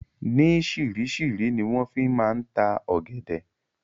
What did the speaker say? Ni sirisiri ni wọn fi máa ń ta ọ̀gẹ̀dẹ̀